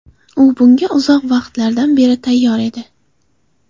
U bunga uzoq vaqtlardan beri tayyor edi.